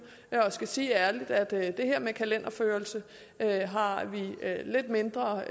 jeg skal sige ærligt at det her med kalenderførelse har har vi det lidt mindre